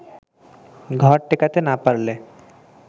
ঘর টেকাতে না পারলে